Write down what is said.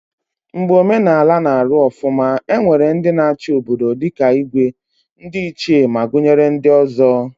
Mgbe omenala na Aru ofuma, e nwere ndi na achi obodo dika Igwe, ndi ichie ma gunyere ndi ozo